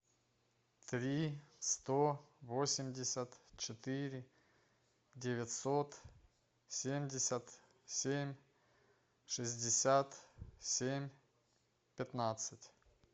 три сто восемьдесят четыре девятьсот семьдесят семь шестьдесят семь пятнадцать